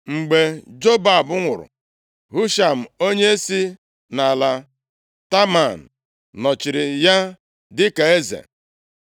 Mgbe Jobab nwụrụ, Husham onye si nʼala Teman nọchiri ya dịka eze.